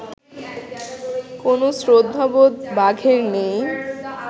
কোনও শ্রদ্ধাবোধ বাঘের নেই